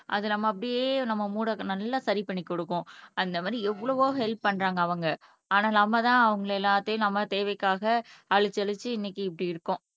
அது நம்ம அப்படியே நம்ம மூட நல்லா சரி பண்ணி கொடுக்கும் அந்த மாதிரி எவ்வளவோ ஹெல்ப் பண்றாங்க அவங்க ஆனா நம்மதான் அவங்களை எல்லாத்தையும் நம்ம தேவைக்காக அழிச்சு அழிச்சு இன்னைக்கு இப்படி இருக்கோம்